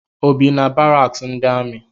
O bi na baraks ndi ami?